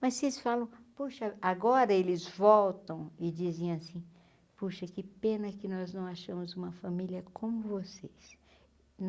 Mas vocês falam, poxa, agora eles voltam e dizem assim, poxa, que pena que nós não achamos uma família como vocês.